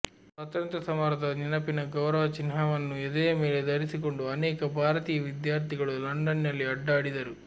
ಸ್ವಾತಂತ್ರ್ಯ ಸಮರದ ನೆನಪಿನ ಗೌರವಚಿಹ್ನವನ್ನು ಎದೆಯ ಮೇಲೆ ಧರಿಸಿಕೊಂಡು ಅನೇಕ ಭಾರತೀಯ ವಿದ್ಯಾರ್ಥಿಗಳು ಲಂಡನ್ನಿನಲ್ಲಿ ಅಡ್ಡಾಡಿದರು